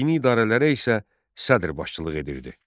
Dini idarələrə isə Sədr başçılıq edirdi.